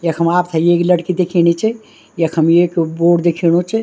यखम आपते एक लड़की दिखेणी च यखम एक बोर्ड दिखेणु च।